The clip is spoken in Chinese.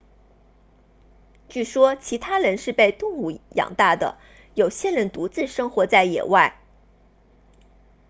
据说其他人是被动物养大的有些人独自生活在野外